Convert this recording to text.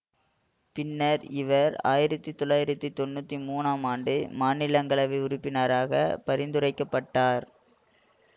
பின்னர் இவர் ஆயிரத்தி தொளாயிரத்திதொண்ணுற்றி மூன்றாம் ஆண்டு மாநிலங்களவை உறுப்பினராக பரிந்துரைக்க பட்டார்